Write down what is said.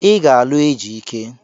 Ị ga-alụ Ejike!